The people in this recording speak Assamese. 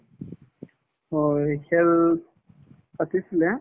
অ, হয় খেল পাতিছিলে